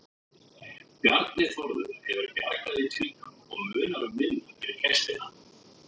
Bjarni Þórður hefur bjargað í tvígang og munar um minna fyrir gestina.